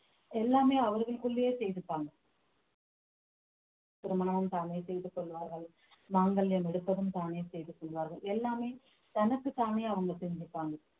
எல்லாமே அவர்களுக்குள்ளேயே செய்துப்பாங்க திருமணம் தானே செய்து கொள்வார்கள் மாங்கல்யம் எடுப்பதும் தானே செய்து கொள்வார்கள் எல்லாமே தனக்குத்தானே அவங்க செஞ்சுப்பாங்க